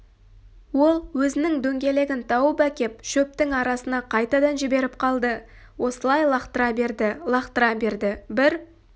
ол өзінің дөңгелегін тауып әкеп шөптің арасына қайтадан жіберіп қалды осылай лақтыра берді лақтыра берді бір